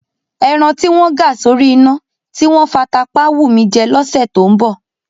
Ẹran tí wọ́n ga sórí iná, tí wọ́n fata pá á wù mí jẹ lọ́sẹ̀ tó ń bọ̀.